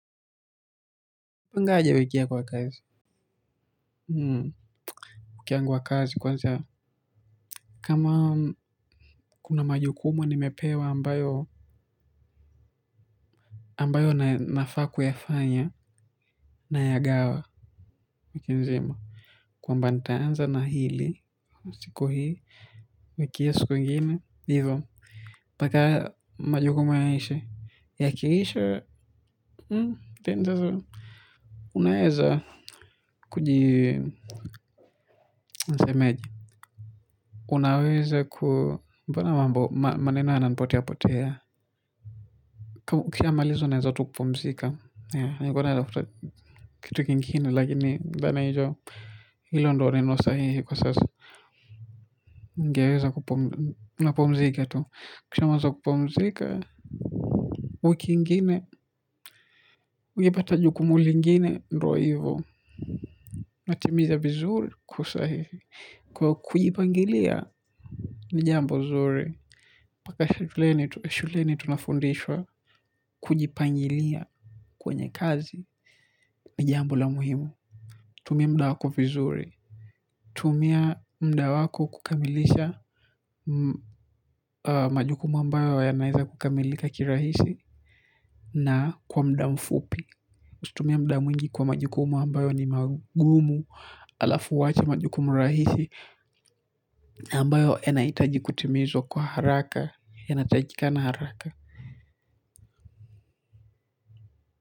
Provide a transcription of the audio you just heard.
Wapangaje wiki yako ya kazi. Hmm. Wiki yangu ya kazi kwanza. Kama kuna majukuma nimepewa ambayo. Ambayo nafaa kuyafanya. Nayagawa, wiki nzima. Kwamba nitaanza na hili. Siku hii. Wikii hiyo siku ingine. Hivo. Mbaka majukumu yaishe. Yakiisha. Hmm. Tendezo. Unaeza. Kuji. Nisemeje. Unaweza ku. Mbona mambo, maneno yananipotea potea. Kiamalizo naeza tu kupumzika. Kitu kingine lakini nadhani hilo ndo neno sahihi kwa sasa. Ningeweza kupumzika tu. Kishamaliza kupumzika, wiki ingine, ungepata jukumu lingine, ndio hivo. Natimiza vizuri kwa usahihi. Kwa kujipangilia jambo zuri. Paka shuleni tunafundishwa kujipangilia. Kwenye kazi, ni jambo la muhimu. Tumia muda wako vizuri. Tumia muda wako kukamilisha majukumu ambayo yanaeza kukamilika kirahisi na kwa muda mfupi. Tumia muda mwingi kwa majukumu ambayo ni magumu alafu uwache majukumu rahisi ambayo yanahitaji kutimizwa kwa haraka, yanahitajika na haraka.